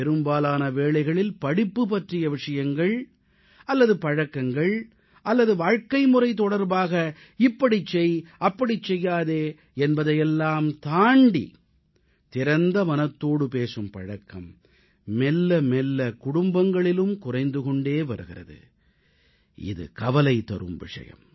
பெரும்பாலான வேளைகளில் படிப்பு பற்றிய விஷயங்கள் அல்லது பழக்கங்கள் அல்லது வாழ்க்கைமுறை தொடர்பாக இப்படிச் செய் அப்படிச் செய்யாதே என்பதையெல்லாம் தாண்டி திறந்த மனத்தோடு பேசும் பழக்கம் மெல்ல மெல்ல குடும்பங்களிலும் குறைந்து கொண்டே வருகிறது இது கவலைதரும் விஷயம்